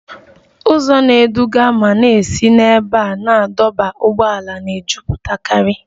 Ụzọ na-eduga ma na-esi n'ebe a na-adọba ụgbọala na-ejụpụtakari